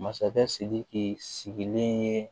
Masakɛ sidiki sigilen ye